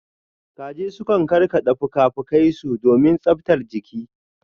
Kaji sukan karkada fuka-fukai su domin tsabtar jiki.